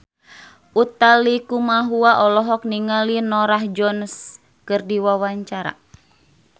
Utha Likumahua olohok ningali Norah Jones keur diwawancara